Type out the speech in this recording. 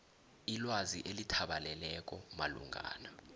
ilwazi elithabaleleko malungana